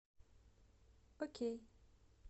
окей